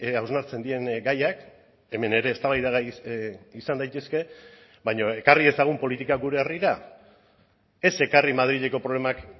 hausnartzen diren gaiak hemen ere eztabaidagai izan daitezke baina ekarri dezagun politika gure herrira ez ekarri madrileko problemak